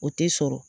O tɛ sɔrɔ